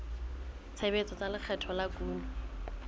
tshebetso tsa lekgetho la kuno